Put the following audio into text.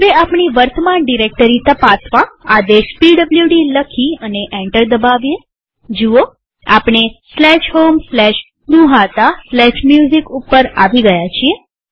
હવે આપણી વર્તમાન ડિરેક્ટરી તપાસવા આદેશ પીડબ્લુડી લખી અને એન્ટર દબાવીએજુઓઆપણે homegnuhataMusic ઉપર આવી ગયા છીએ